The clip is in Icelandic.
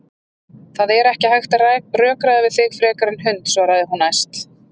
Það er ekki hægt að rökræða við þig frekar en hund, svarar hún æst.